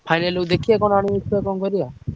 Final କୁ ଦେଖିଆ କଣ କରିଆ